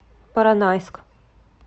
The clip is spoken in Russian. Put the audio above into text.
поронайск